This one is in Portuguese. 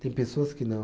Tem pessoas que não.